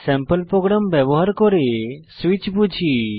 sample program ব্যবহার করে switch বুঝি